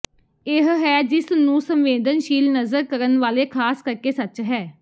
ਇਹ ਹੈ ਜਿਸ ਨੂੰ ਸੰਵੇਦਨਸ਼ੀਲ ਨਜ਼ਰ ਕਰਨ ਵਾਲੇ ਖਾਸ ਕਰਕੇ ਸੱਚ ਹੈ